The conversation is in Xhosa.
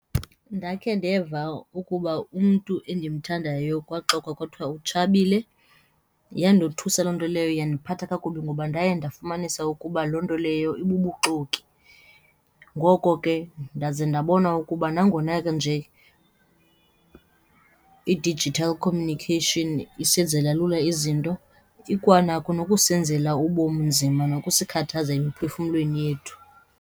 Ndakhe ndeva ukuba umntu endimthandayo kwaxokwa kwathiwa utshabile, yandothusa loo nto leyo yandiphatha kakubi ngoba ndaye ndafumanisa ukuba loo nto leyo ibubuxoki. Ngoko ke ndaze ndabona ukuba nangona nje i-digital communication isenzela lula izinto, ikwanako nokusenzela ubomi nzima nokusithathaza emiphefumlweni yethu.